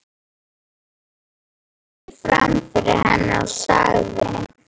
Þórður greip fram fyrir henni og sagði